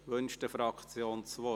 Wünscht eine Fraktion das Wort?